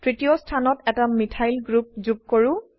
তৃতীয় স্থানত এটা মিথাইল গ্ৰুপ যোগ কৰো